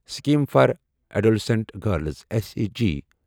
scheme for adolescent girls S A G